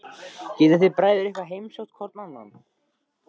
Getið þið bræður eitthvað heimsótt hvor annan?